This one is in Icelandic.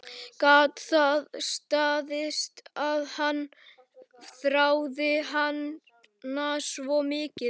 Gat það staðist að hann þráði hana svona mikið?